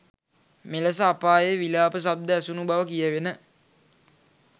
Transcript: මෙලෙස අපායේ විලාප ශබ්ද ඇසුණු බව කියැවෙන